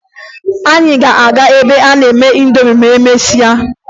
Anyị ga-aga ebe a na-eme ịndomi ma emesịa